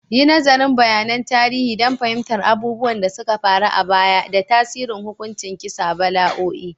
Yi nazarin bayanan tarihi don fahimtar abubuwan da suka faru a baya da tasirin hukuncin kisa, bala'o'i